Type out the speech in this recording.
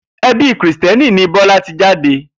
E̩bi Krìsté̩nì ni Bó̩la ti jade